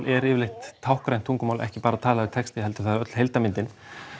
er yfirleitt táknrænt tungumál ekki bara talaður texti heldur það er öll heildarmyndin